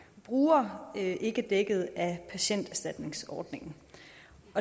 bruger ikke er dækket af patienterstatningsordningen